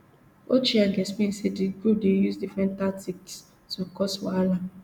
ochieng explain say di group dey use different tactics to cause wahala